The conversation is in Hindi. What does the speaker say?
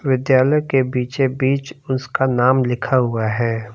विद्यालय के बीचे बीच उसका नाम लिखा हुआ है।